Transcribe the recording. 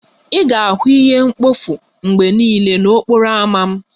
Ị ga-ahụ ihe mkpofu mgbe niile n'okporo ámá m